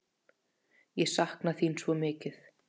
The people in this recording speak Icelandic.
Ég sakna þín svo mikið!